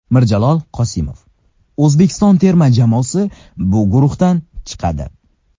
Mirjalol Qosimov: O‘zbekiston terma jamoasi bu guruhdan chiqadi.